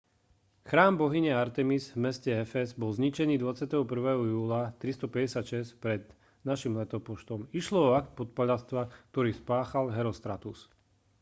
chrám bohyne artemis v meste efez bol zničený 21. júla 356 pred n.l. išlo o akt podpaľačstva ktorý spáchal herostratus